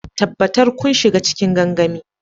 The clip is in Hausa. Tabbatar kun shiga cikin gangamin.